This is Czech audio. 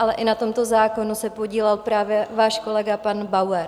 Ale i na tomto zákonu se podílel právě váš kolega pan Bauer.